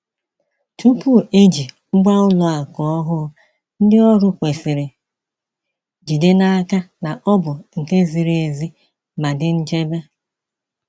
Tupu eji ngwa ụlọ akụ ọhụụ, ndị ọrụ kwesịrị jide n’aka na ọ bụ nke ziri ezi ma dị nchebe.